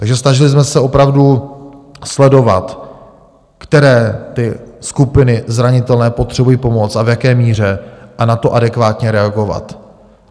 Takže snažili jsme se opravdu sledovat, které ty skupiny zranitelné potřebují pomoc a v jaké míře, a na to adekvátně reagovat.